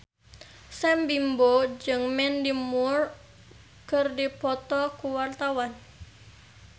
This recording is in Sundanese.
Sam Bimbo jeung Mandy Moore keur dipoto ku wartawan